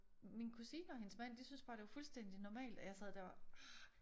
Min kusine og hendes mand de synes bare det fuldstændig normalt og jeg sad der og var ah